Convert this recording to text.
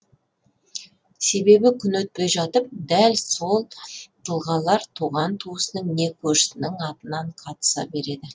себебі күн өтпей жатып дәл сол тұлғалар туған туысының не көршісінің атынан қатыса береді